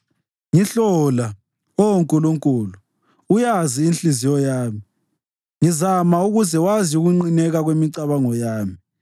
Ngihlola, Oh Nkulunkulu, uyazi inhliziyo yami; ngizama ukuze wazi ukunqineka kwemicabango yami.